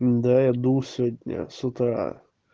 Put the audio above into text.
да я дул сегодня с утра